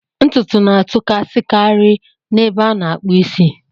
Ntutu na-atụkasikari n'ebe a na-akpụ isi.